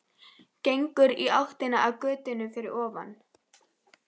Gengur í áttina að götunni fyrir ofan.